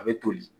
A bɛ toli